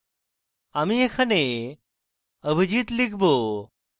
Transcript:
আমি এখানে abhijit লিখব